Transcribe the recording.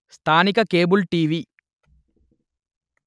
స్థానిక cable TV